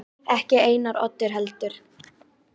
Ekki Einar Oddur heldur.